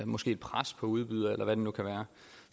måske et pres på udbyder eller hvad det nu kan være